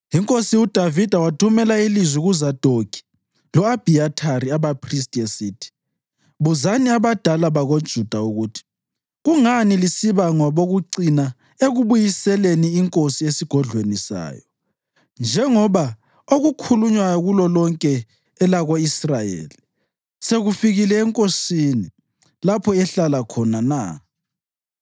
Inkosi uDavida wathumela ilizwi kuZadokhi lo-Abhiyathari, abaphristi esithi, “Buzani abadala bakoJuda ukuthi, ‘Kungani lisiba ngabokucina ekubuyiseleni inkosi esigodlweni sayo njengoba okukhulunywayo kulolonke elako-Israyeli sekufikile enkosini lapho ehlala khona na?